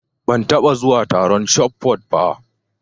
Ban taɓa zuwa taron shotput ba.